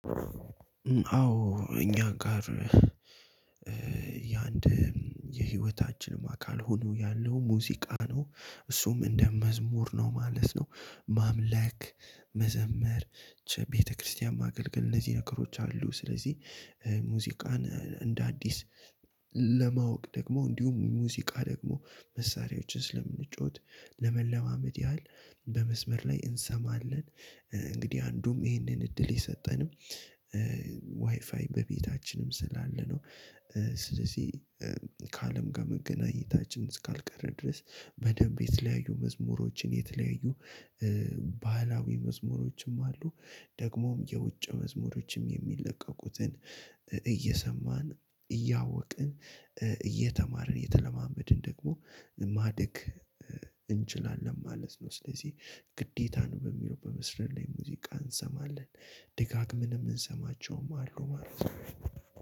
አዎ እኛ ጋር። የአንድ የህይወታችንም አካል ሆኖ ያለው ሙዚቃ ነው እሱም እንደ መዝሙር ነው ማለት ነው። ማምለክ መዘመር ቤተ-ክርስትያን ማገልገል እነዚህ ነገሮች አሉ። ስለዚህ ሙዚቃን እንደ አዲስ ለማወቅ ደግሞ እንዲሁም ሙዚቃ ደግሞ መሳሪያዎችን ስለምንጫወት ለመለማመድ ያህል በመስመር ላይ እንሰማለን እንግዲህ አንዱም ይህንን እድል የሰጠንም በቤታችንም ስላለ ነው። ስለዚህ ከአለም ጋር መገናኘታችን እስካልቀረ ድረስ በደንብ የተለያዩ መዝሙሮችን የተለያዩ ባህላዊ መዝሙሮችም አሉ። ደግሞም የውጭ መዝሙሮችም የሚለቀቁትን እየሰማን እያወቅን እየተማርን እየተለማመድን ደግሞ ማደግ እንችላለን ማለት ነው። ስለዚህ ግዴታን በሚለው በመስረት ላይ ሙዚቃ እንሰማለን ድጋግምን የምንሰማቸውም አሉ ማለት ነው።